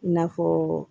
I n'a fɔ